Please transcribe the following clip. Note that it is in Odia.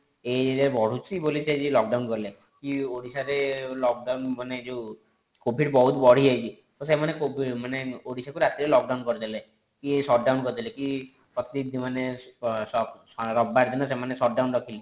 ଏଇ area ରେ ବଢୁଛି ବୋଲି ସେ ଆଜି lock down କଲେ କି ଓଡିଶା ରେ lock down ମାନେ ଯେଉଁ covid ବହୁତ ବଢି ଯାଇଛି ତ ସେମାନେ ଓଡିଶା କୁ ମାନେ ରାତିରେ lockdown କରି ଦେଲେ କି shutdown କରିଦେଲେ କି ପ୍ରତିନିଧି ମାନେ ରବିବାର ଦିନ ସେମାନେ shutdown ରଖିଲେ